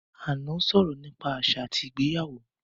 Ànọ́ sọ̀rọ̀ nípa àṣà àti ìgbéyàwó